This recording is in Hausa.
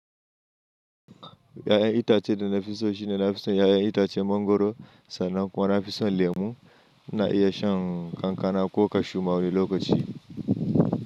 Ƴaƴan itacen da nafi so shine nafi son ƴaƴan itacen mangwaro sannan kuma nafi son lemu ina iya shan kankana ko kashu ma wani lokaci.